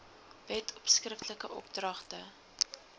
wet skriftelike opdragte